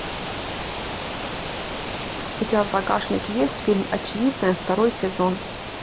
у тебя в загашнике есть фильм очевидное второй сезон